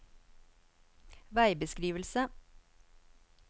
veibeskrivelse